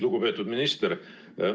Lugupeetud minister!